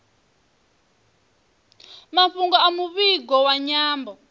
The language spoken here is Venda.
mafhungo a muvhigo wa nyambo